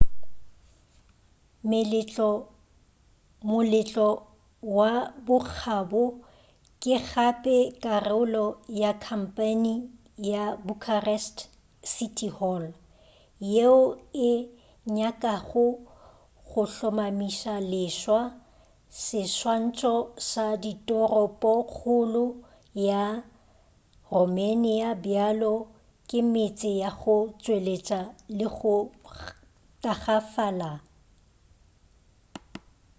moletlo wa bokgabo ke gape karolo ya khampeine ka bucharest city hall yeo e nyakago go hlomamiša-leswa seswantšho sa toropokgolo ya romanian bjalo ka metse ya go tšweletša le go tagafala